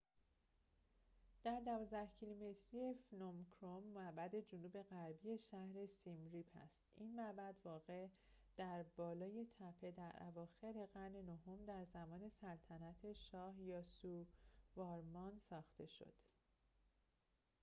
معبد phnom krom در ۱۲ کیلومتری جنوب غربی شهر سیم ریپ است این معبد واقع در بالای تپه در اواخر قرن نهم در زمان سلطنت شاه یاسووارمان ساخته شد